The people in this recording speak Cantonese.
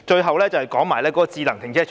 我還想談談智能停車場。